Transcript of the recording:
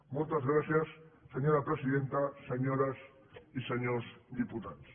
moltes gràcies senyora presidenta senyores i senyors diputats